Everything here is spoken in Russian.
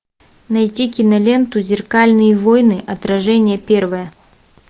найти киноленту зеркальные войны отражение первое